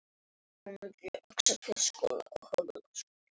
En fékk ekkert svar.